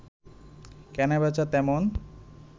কেনা-বেচা তেমন